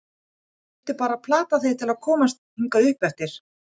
Ég þurfti bara að plata þig til að koma hingað uppeftir.